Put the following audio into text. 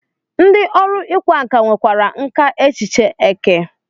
Ndị ọrụ ịkwa nkà nwekwara nkà echiche eke.